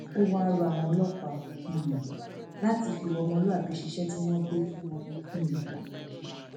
ó wáá rọ àwọn ọlọpàá um láti fi ìwà ọmọlúàbí ṣiṣẹ tí wọn gbé fún um wọn yìí